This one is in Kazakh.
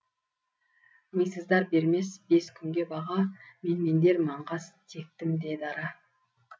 мисыздар бермес бес күнге баға менмендер маңғаз тектім де дара